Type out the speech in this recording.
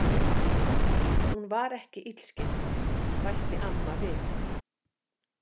Hún var ekki illskeytt, bætti amma við.